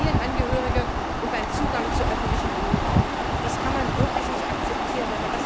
z. B. für Familienangehörige, und beim Zugang zu öffentlichem Wohnraum. Das kann man wirklich nicht akzeptieren.